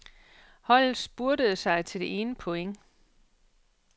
Holdet spurtede sig til det ene point.